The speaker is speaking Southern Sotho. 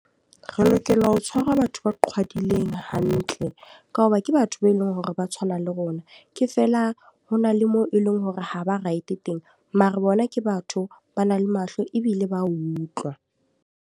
Re lokela ho tshwarwa batho ba qhwadileng hantle. Ka hoba ke batho be leng hore ba tshwanang le rona, ke feela ho na le moo e leng hore ha ba right teng. Mare bona ke batho, ba na le mahlo ebile ba utlwa.